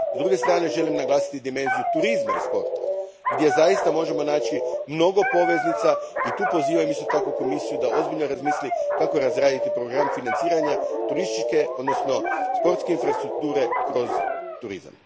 S druge strane, želim naglasiti dimenziju turizma i sporta, gdje zaista možemo naći mnogo poveznica i tu pozivam isto tako Komisiju da ozbiljno razmisli kako razraditi program financiranja turističke odnosno sportske infrastrukture kroz turizam.